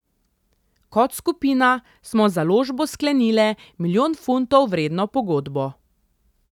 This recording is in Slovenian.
Kot skupina smo z založbo sklenile milijon funtov vredno pogodbo.